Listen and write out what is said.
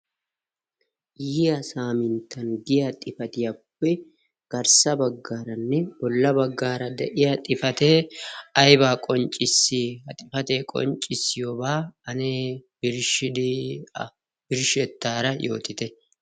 ha saaminttan giya xifatiyaappe garssa baggaaranne bolla baggaara de'iya xifatee aibaa qonccissia xifatee qonccissiyoobaa anee shsh birshshettaara yootite?